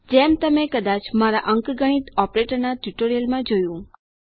જેમ તમે કદાચ મારા અંકગણિત ઓપરેટરના ટ્યુટોરીયલમાં જોયું